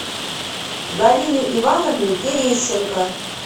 галины ивановны терещенко